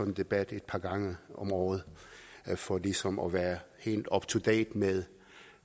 en debat et par gange om året for ligesom at være helt up to date med